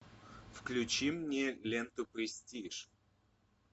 включи мне ленту престиж